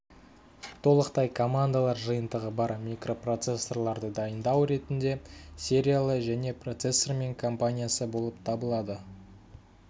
толықтай командалар жиынтығы бар микропроцессорларды дайындау ретінде сериялы және процессорымен компаниясы болып табылады